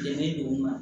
Bɛnnen don